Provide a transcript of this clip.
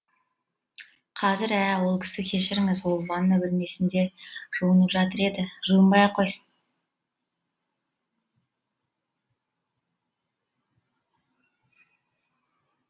қазір ә ол кісі кешіріңіз ол ванна бөлмесінде жуынып жатыр еді жуынбай ақ қойсын